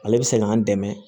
Ale bɛ se k'an dɛmɛ